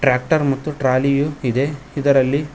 Tractor ಮತ್ತು ಟ್ರಾಲಿಯೂ ಇದೆ ಇದರಲ್ಲಿ.